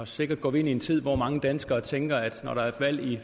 sikkert går ind i en tid hvor mange danskere tænker at når der er valg i